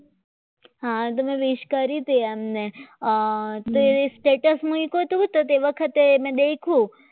આ તમે વિશ કરી તેમને તો એ status મૂક્યું હતું ને તે વખતે તમે દેખ્યું